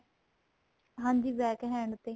ਹਾਂਜੀ back hand ਤੇ